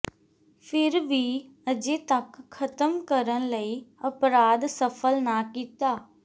ਫਿਰ ਵੀ ਅਜੇ ਤੱਕ ਖ਼ਤਮ ਕਰਨ ਲਈ ਅਪਰਾਧ ਸਫ਼ਲ ਨਾ ਕੀਤਾ